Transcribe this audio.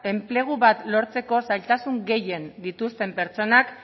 enplegu bat lortzeko zailtasun gehien dituzten pertsonak